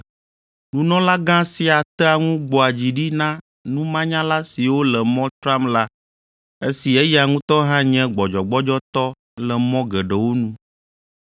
Nunɔlagã sia tea ŋu gbɔa dzi ɖi na numanyala siwo le mɔ tram la esi eya ŋutɔ hã nye gbɔdzɔgbɔdzɔtɔ le mɔ geɖewo nu.